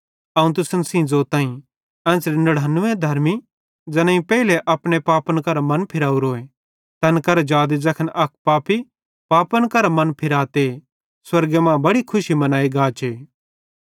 अवं तुसन सेइं ज़ोताईं कि एन्च़रे 99 धर्मी ज़ैनेईं पेइले अपने पापन करां मनफिरावरो तैन करां जादे ज़ैखन अक पापी पापन करां मन फिराते स्वर्गे मां बड़ी खुशी बनाई गाचे